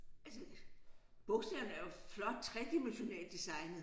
Altså bogstaverne er jo flot tredimensionelt designede